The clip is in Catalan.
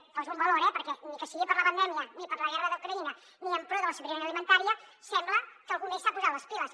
ho poso en valor eh perquè ni que sigui per la pandèmia ni per la guerra d’ucraïna ni en pro de la sobirania alimentària sembla que algú més s’ha posat les piles